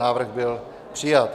Návrh byl přijat.